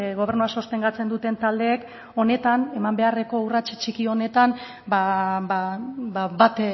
gobernua sostengatzen duten taldeek honetan eman beharreko urrats txiki honetan bat